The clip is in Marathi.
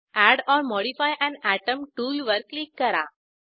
add or modify an atom टूलवर क्लिक करा